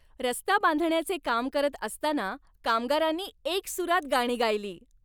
रस्ता बांधण्याचे काम करत असताना कामगारांनी एकसुरात गाणी गायली.